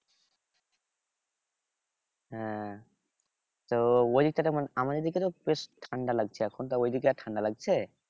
হ্যাঁ তো ওই দিক থেকে মানে আমাদের দিকে তো বেশ ঠান্ডা লাগছে এখন তা ঐদিক আর ঠান্ডা লাগছে?